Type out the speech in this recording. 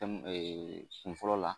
tɛmu de Kun fɔlɔ la